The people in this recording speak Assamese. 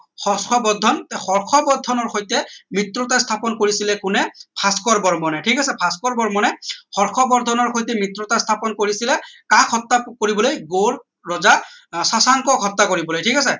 হৰ্ষবৰ্ধন হৰ্ষবৰ্ধনৰ সৈতে মৃত্যতা স্থাপন কৰিছিলে কোনে ভাস্কৰ বৰ্মনে ঠিক আছে ভাস্কৰ বৰ্মনে হৰ্ষবৰ্ধনৰ সৈতে মৃত্যতা স্থাপন কৰিছিলে কাৰ কৰিবলৈ gold ৰজা স্বাসংকৰ হত্যা কৰিবলৈ ঠিক আছে